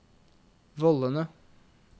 vollene